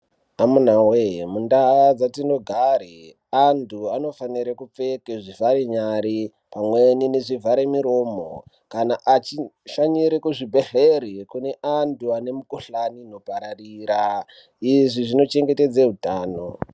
Amunawee mundaa dzatinogare anthu anofanire kupfeke zvivhare nyare pamweni nezvivhare miromo kana achishanyire kuzvibhedhlere kune anthu ane mikuhlani inopararira izvi zvino chengetedze utano.